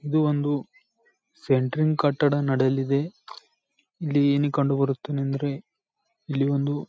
ಇದು ಒಂದು ಸೆಂಟ್ರಿಂಗ್ ಕಟ್ಟಡ ನಡೆಯಲಿದೆ ಇಲ್ಲಿ ಏನು ಕಂಡುಬರುತ್ತದೆ ಅಂದ್ರೆ ಇಲ್ಲಿ ಒಂದು--